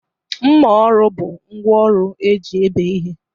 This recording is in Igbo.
Mma ọrụ bụ ngwaọrụ eji ebéé ihe.